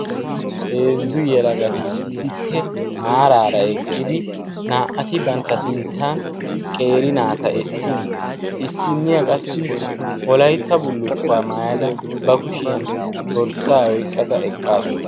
Heezzu yalagati issippe maaraara eqqidi naa"ati bantta sinttan qeeri naata essin issinniyaa qassi wolaytta bullukkuwaa maayada ba kushiyan dorssaa oyqqada eqqaasu.